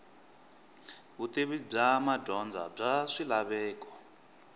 vutivi bya madyondza bya swilaveko